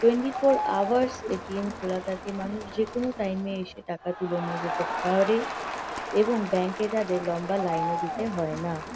Twenty four hours ATM. খোলা থাকে। মানুষ যে-কোনো টাইম -এ এসে টাকা তুলে নিয়ে যেতে পা-আ-রে এবং ব্যাঙ্ক -এ তাদের লম্বা লাইন -ও দিতে হয় না।